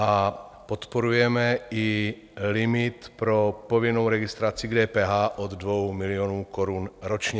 A podporujeme i limit pro povinnou registraci k DPH od 2 milionů korun ročně.